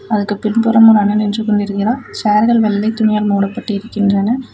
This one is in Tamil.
அதுக்கு பின்புறம் ஒரு அண்ணன் நின்று கொண்டிருக்கிறார் சேர்கள் வெள்ளை துணியால் மூடப்பட்டிருக்கின்றன.